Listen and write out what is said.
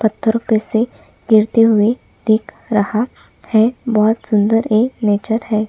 पत्थर पे से गिरते हुए दिख रहा है बहुत सुन्दर ए नेचर है।